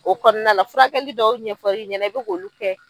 O kɔɔna la furakɛli dɔw ɲɛfɔr'i ɲɛnɛ i be k'olu kɛ